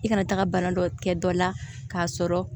I kana taaga bana dɔ kɛ dɔ la k'a sɔrɔ